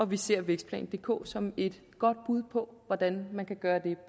vi ser vækstplan dk som et godt bud på hvordan man kan gøre det